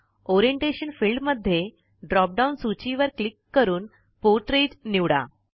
orientation field मध्ये drop down सूची वर क्लिक करून पोर्ट्रेट निवडा